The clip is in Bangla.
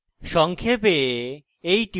সংক্ষেপে